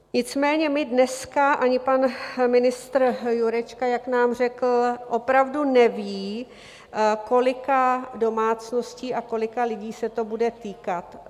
Nicméně my dneska, ani pan ministr Jurečka, jak nám řekl, opravdu nevíme, kolika domácností a kolika lidí se to bude týkat.